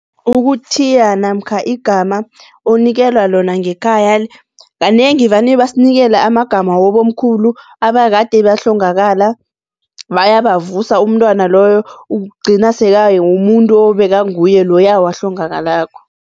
Ukuthiya namkha igama onikelwa lona ngekhaya kanengi vane basinikela amagama wabomkhulu abakade bahlongakala bayabavusa, umntwana-loyo ugcina sekangamumuntu obeka nguye loya awahlongakalako.